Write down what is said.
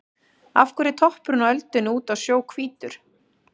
Af hverju er toppurinn á öldunni úti á sjó hvítur?